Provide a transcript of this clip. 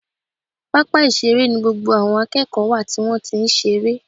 Pápá ìṣeré ni gbogbo àwọn akẹ́kọ̀ọ́ wà tí wọ́n ti ń ṣeré